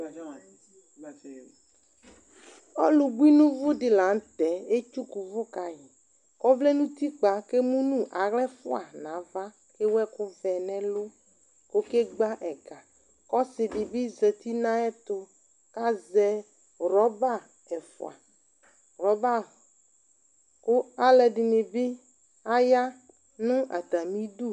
Ɔlu bui nu uvu di latɛ étsuku uvu kayi ɔvlɛ nu utikpa ké munu axlă fua na ava ké éwu ɛku vɛ nɛ ɛlu kɔké gba ɛgă kɔ ɔsi di bi zɛti na yɛtu kazɛ rɔba ɛfua ku alɛdini bi ya nu atamidu